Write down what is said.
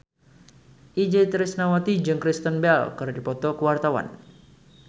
Itje Tresnawati jeung Kristen Bell keur dipoto ku wartawan